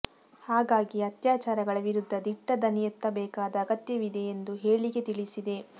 ಹಾಗಾಗಿ ಅತ್ಯಾಚಾರಗಳ ವಿರುದ್ಧ ದಿಟ್ಟ ದನಿಯೆತ್ತಬೇಕಾದ ಅಗತ್ಯವಿದೆ ಎಂದು ಹೇಳಿಕೆ ತಿಳಿಸಿದೆ